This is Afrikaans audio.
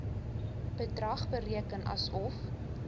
bedrag bereken asof